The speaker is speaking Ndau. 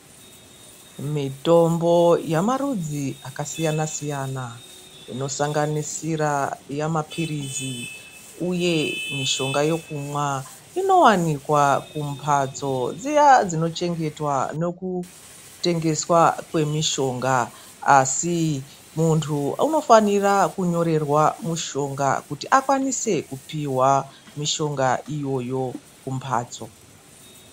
Mitombo yamarudzi akasiyana siyana inosanganisira yamapirizi uye mishonga yekumwa inowanikwa kumbatso dziya kuchengetwa ekute geswa kwemishonga asi muntu anofana kunyorerwa mishonga kuti akwanise kupihwa mishonga iyoyo kumbatso.